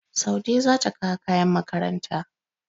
Saude za ta kawo kayan makaranta.